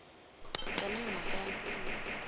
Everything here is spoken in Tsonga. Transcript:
tani hi mhaka ya ntiyiso